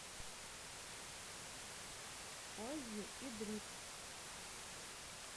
оззи и дрикс